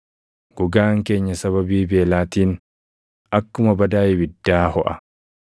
Gogaan keenya sababii beelaatiin akkuma badaa ibiddaa hoʼa.